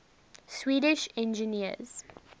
swedish engineers